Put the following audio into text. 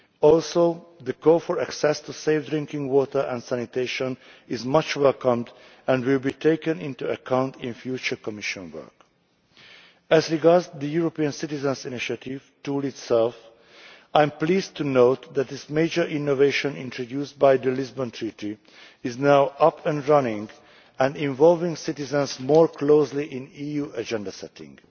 Also, the call for access to safe drinking water and sanitation is much welcomed and will be taken into account in future Commission work. As regards the European Citizens' Initiative tool itself, I am pleased to note that this major innovation introduced by the Lisbon Treaty is now up and running and involving citizens more closely in EU agenda setting.